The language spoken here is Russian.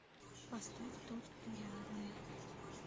поставь тот кто рядом